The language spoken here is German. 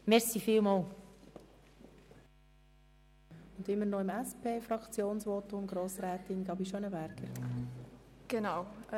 Die zweite Hälfte des Fraktionsvotums der SPJUSO-PSA-Fraktion hält Grossrätin Gabi Schönenberger.